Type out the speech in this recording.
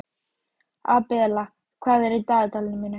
Abela, hvað er í dagatalinu mínu í dag?